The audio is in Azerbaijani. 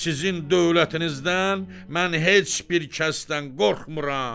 Sizin dövlətinizdən mən heç bir kəsdən qorxmuram.